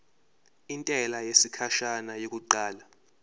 intela yesikhashana yokuqala